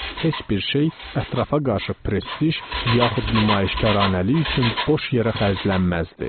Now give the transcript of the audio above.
Heç bir şey ətrafa qarşı prestij, yaxud nümayişkaranəlik üçün boş yerə xərclənməzdi.